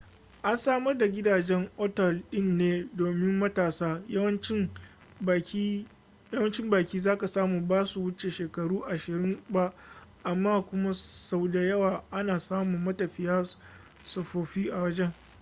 an samar da gidajen otal din ne domin matasa yawancin baki zaka samu basu wuce shekaru ashirin ba amma kuma sau da yawa ana samun matafiya tsofaffi a wajen